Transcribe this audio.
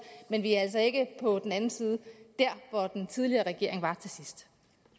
men vi er altså ikke på den anden side der hvor den tidligere regering var til sidst